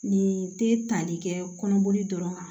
Nin tɛ tali kɛ kɔnɔboli dɔrɔn kan